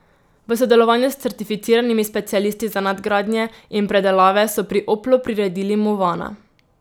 V sodelovanju s certificiranimi specialisti za nadgradnje in predelave so pri Oplu priredili movana.